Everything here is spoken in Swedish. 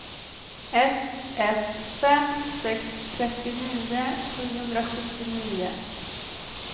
ett ett fem sex trettionio sjuhundrasjuttionio